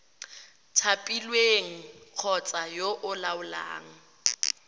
thapilweng kgotsa yo o laolang